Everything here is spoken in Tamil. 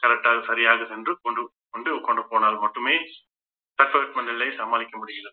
correct ஆக சரியாக சென்று கொண்~ கொண்டு போனால் மட்டுமே தட்பவெப்பநிலை நிலையை சமாளிக்க முடியலை